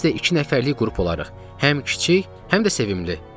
Biz də iki nəfərlik qrup olaraq, həm kiçik, həm də sevimli.